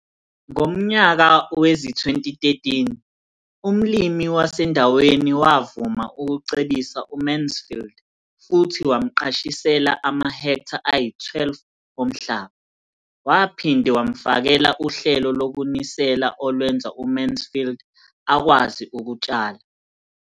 Ngomnyaka wezi-2013, umlimi wasendaweni wavuma ukucebisa uMansfield futhi wamqashisela amahektha ayi-12 omhlaba. Waphinde wamfakela uhlelo lokunisela olwenza uMansfield akwazi ukutshala.